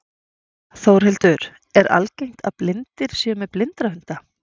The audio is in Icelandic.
Þórhildur, er algengt að blindir séu með blindrahunda?